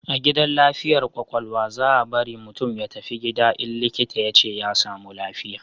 A gidan lafiyar kwakwalwa, za bari mutum ya tafi gida in likita ya ce ya samu lafiya